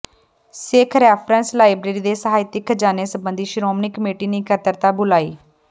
ਸਿੱਖ reference library ਦੇ ਸਾਹਿਤਕ ਖਜ਼ਾਨੇ ਸੰਬੰਧੀ ਸ਼੍ਰੋਮਣੀ ਕਮੇਟੀ ਨੇ ਇਕੱਤਰਤਾ ਬੁਲਾਈ